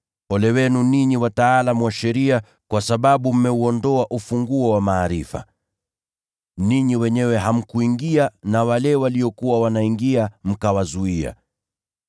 “Ole wenu ninyi wataalamu wa sheria, kwa sababu mmeuondoa ufunguo wa maarifa. Ninyi wenyewe hamkuingia, na wale waliokuwa wanaingia mkawazuia.”